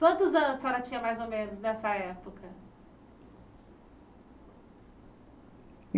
Quantos anos a senhora tinha, mais ou menos, nessa época?